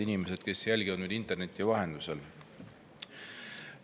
Head inimesed, kes jälgivad meid interneti vahendusel!